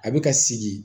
A bɛ ka sigi